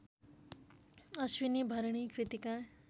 Ashwini Bharani Kritika